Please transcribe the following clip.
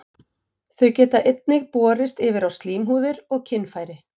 Þau geta einnig borist yfir á slímhúðir og kynfæri.